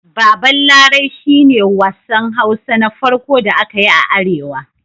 Baban Larai shi ne wassan Hausa Na farƙo da aka yi a Arewa.